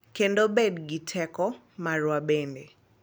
Kendo bed gi teko marwa bende.